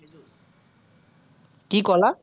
কি কলা?